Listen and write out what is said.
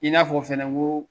I n'a fɔ fɛnɛ n ko